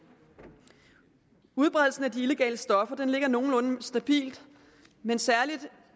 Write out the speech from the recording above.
udbredelsen af de illegale stoffer ligger nogenlunde stabilt men særlig